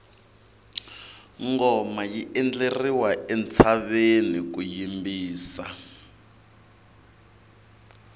ngoma yi endleriwa entshaveni ku yimbisa